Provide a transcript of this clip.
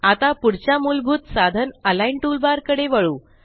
आता पुढच्या मुलभूत साधनAlign टूलबार कडे वळू